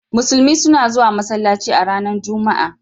Musulmi suna zuwan masallaci a ranan Juma'a.